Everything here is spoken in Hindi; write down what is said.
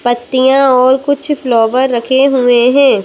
पत्तियाँ और कुछ फ्लोवर रखे हुए हैं।